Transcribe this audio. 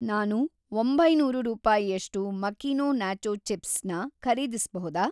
ನಾನು ಒಂಬೈನೂರು ರೂಪಾಯಿಯಷ್ಟು ಮಕೀನೊ ನಾಚೋ ಚಿಪ್ಸ್ ನ ಖರೀದಿಸ್ಬಹುದಾ?